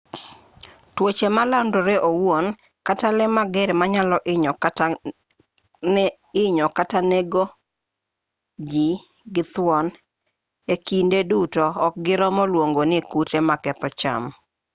tuoche malandore owuon kata lee mager manyalo hinyo kata nego ji gi thuon e kinde duto ok giromo luongo ni kute maketho cham